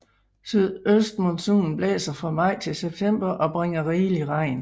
Sydøstmonsunen blæser fra maj til september og bringer rigelig regn